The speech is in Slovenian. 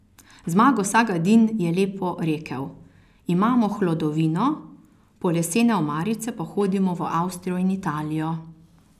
Zmago Sagadin je lepo rekel, imamo hlodovino, po lesene omarice pa hodimo v Avstrijo in Italijo.